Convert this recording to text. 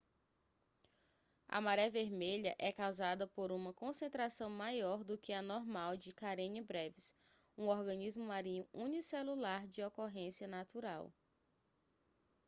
a maré vermelha é causada por uma concentração maior do que a normal de karenia brevis um organismo marinho unicelular de ocorrência natural